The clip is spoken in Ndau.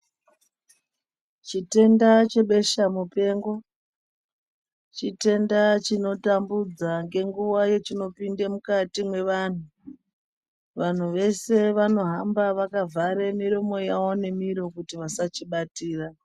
Chitenda chebesha mupengo chitenda chinotambudza ngenguwa yachinopinda mukati mevantu. Vanhu veshe vanohamba vakavhara miromo yavo ngemiro kuti vasachibatira.